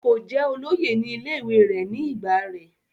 kò jẹ́ olóyè ní ilé ìwé rẹ̀ ní ìgbà rẹ̀